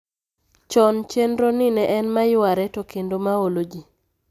Chon chendro ni ne en maywaare to kendo maolo jii